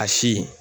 A si